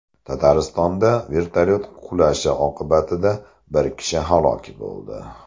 Tataristonda vertolyot qulashi oqibatida bir kishi halok bo‘ldi.